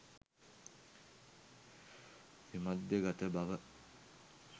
විමධ්‍යගත බව